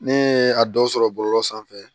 Ne ye a dɔw sɔrɔ bɔlɔlɔ sanfɛ